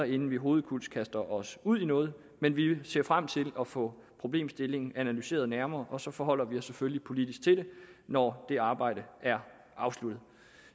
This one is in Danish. inden vi hovedkulds kaster os ud i noget men vi ser frem til at få problemstillingen analyseret nærmere og så forholder vi os selvfølgelig politisk til det når det arbejde er afsluttet